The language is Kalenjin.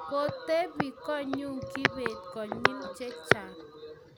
kotebee konyu kibet konyil che chang'